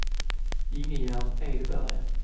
Ingegerd Edberg